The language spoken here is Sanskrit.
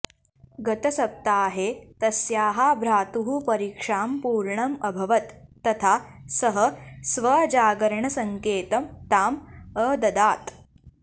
गतसप्ताहे तस्याः भ्रातुः परीक्षां पूर्णम् अभवत् तथा सः स्वजागरणसंकेतं ताम् अददात्